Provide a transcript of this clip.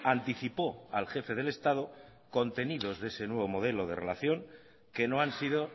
anticipó al jefe del estado contenidos de ese nuevo modelo de relación que no han sido